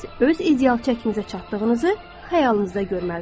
Siz öz ideal çəkinizə çatdığınızı xəyalınızda görməlisiniz.